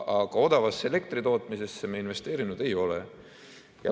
Aga odavasse elektritootmisesse me investeerinud ei ole.